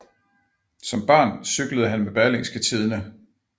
Som dreng cyklede han med Berlingske Tidende